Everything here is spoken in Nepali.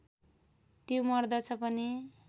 त्यो मर्दछ पनि